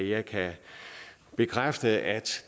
jeg kan bekræfte at